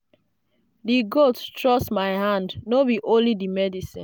the goat trust my hand no be only the medicine.